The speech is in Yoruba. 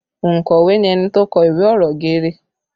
Ònkọ̀wé ni ẹni tó kọ ìwé ọ̀rọ̀ geere